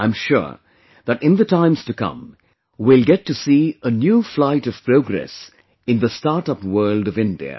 I am sure that in the times to come, we will get to see a new flight of progress in the startup world of India